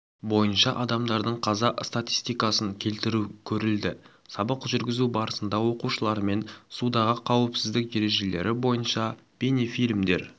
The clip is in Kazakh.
бойынша адамдардың қаза статистикасын келтіру көрілді сабақ жүргізу барысында оқушылармен судағы қауіпсіздік ережелері бойынша бейнефильмдер